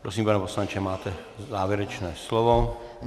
Prosím, pane poslanče, máte závěrečné slovo.